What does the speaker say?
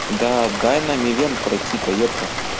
да дай нам ивент пройти то йобта